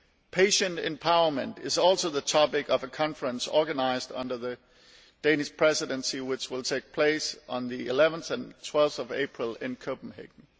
Patient empowerment is also the topic of a conference organised under the Danish Presidency, which will take place on 11 and 12 April in Copenhagen.